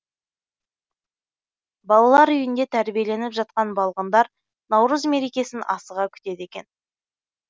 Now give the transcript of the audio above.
балалар үйінде тәрбиеленіп жатқан балғындар наурыз мерекесін асыға күтеді екен